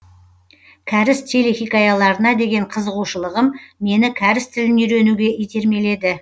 кәріс телехикаяларына деген қызығушылығым мені кәріс тілін үйренуге итермеледі